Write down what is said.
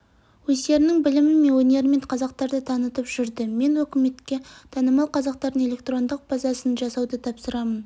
өздерінің білімі мен өнерімен қазақтарды танытып жүрді мен үкіметке танымал қазақтардың электрондық базасын жасауды тапсырамын